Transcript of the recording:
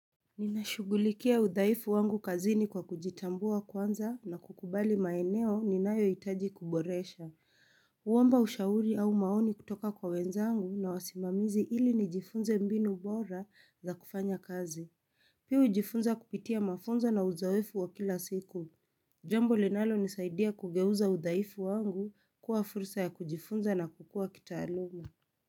Ninashugulikia udhaifu wangu kazini kwa kujitambua kwanza na kukubali maeneo ni nayo itaji kuboresha Uwamba ushauri au maoni kutoka kwa wenzangu na wasimamizi ili ni jifunze mbinu bora za kufanya kazi Piu jifunza kupitia mafunza na uzawefu wa kila siku Jambo linalo nisaidia kugehuza udaifu wangu kuwa fursa ya kujifunza na kukua kitaaluma.